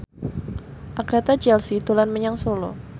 Agatha Chelsea dolan menyang Solo